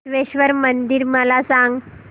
बसवेश्वर मंदिर मला सांग